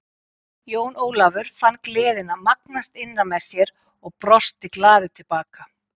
Jón Ólafur fann gleðina magnast innra með sér og brosti glaður til baka.